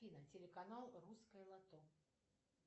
афина телеканал русское лото